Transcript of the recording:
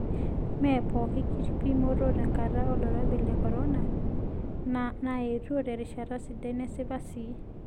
Mee pooki kipimot tenkata olkirobi le korona naaetuo terishata sidai nesipa sii.